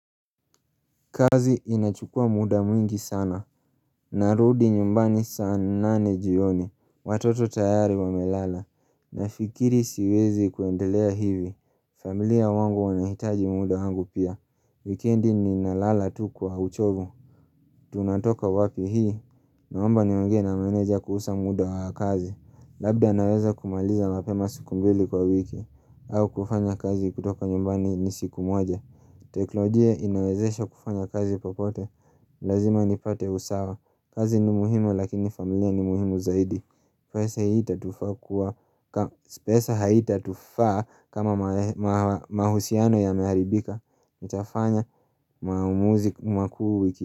Kazi inachukua muda mwingi sana, narudi nyumbani saa nane jioni, watoto tayari wamelala, nafikiri siwezi kuendelea hivi, familia wangu wanahitaji muda wangu pia, wikendi ninalala tu kwa uchovu Tunatoka wapi hii, naomba niongee na manager kuhusu muda wa kazi Labda naweza kumaliza mapema siku mbili kwa wiki au kufanya kazi kutoka nyumbani ni siku moja teknolojia inawezesha kufanya kazi popote Lazima nipate usawa kazi ni muhimu lakini familia ni muhimu zaidi pesa haitatufaa kama mahusiano yameharibika Nitafanya maamuzi makuu wiki.